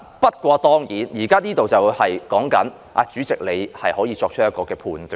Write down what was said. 不過，當然，現在有關修訂是指主席可以作出判斷。